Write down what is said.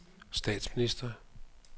statsminister